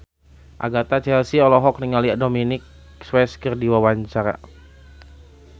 Agatha Chelsea olohok ningali Dominic West keur diwawancara